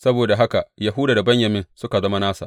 Saboda haka Yahuda da Benyamin suka zama nasa.